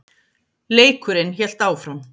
Leikurinn hélt áfram.